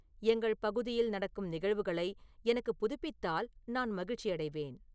எங்கள் பகுதியில் நடக்கும் நிகழ்வுகளை எனக்கு புதுப்பித்தால் நான் மகிழ்ச்சியடைவேன்